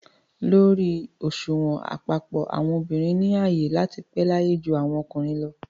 Lórí òṣùwọ̀n àpapọ̀, àwọn obìnrin ni ààyè láti pẹ́ láyé ju àwọn ọkùnrin lọ